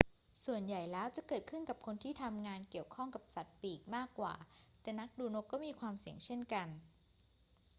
ส่วนใหญ่แล้วจะเกิดขึ้นกับคนที่ทำงานเกี่ยวข้องกับสัตว์ปีกมากกว่า แต่นักดูนกก็มีความเสี่ยงเช่นกัน